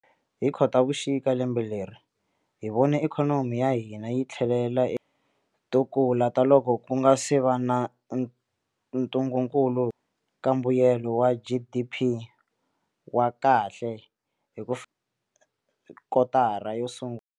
Hi Khotavuxika lembe leri, hi vone ikhonomi ya hina yi tlhelela kula ta loko ku nga se va na ntungukulu ka mbuyelo wa GDP wa kahle hi ku kotara yo sungula.